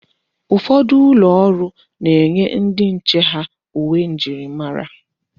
Ụfọdụ ụlọ ọrụ na-enye ndi nche ha uwe njirimara.